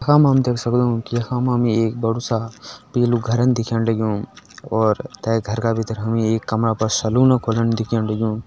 यखा मा हम देख सक्दु कि यखा मा हमि एक बड़ु सा पीलु घरन दिखेण लग्युं और तै घर का भितर हमि एक कमरा पर सलुन खोलण दिखण लग्युं।